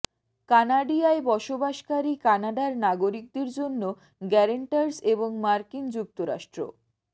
কানাডিয়ায় বসবাসকারী কানাডার নাগরিকদের জন্য গ্যারান্টারস এবং মার্কিন যুক্তরাষ্ট্র